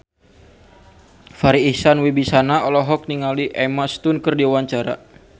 Farri Icksan Wibisana olohok ningali Emma Stone keur diwawancara